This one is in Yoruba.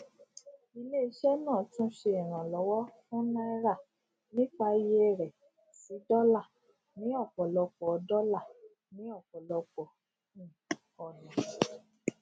ilé iṣẹ náà túnṣe ìrànlówọ fún náírà nípa iye rẹ sí dọlà ní ọpọlọpọ dọlà ní ọpọlọpọ um ọnà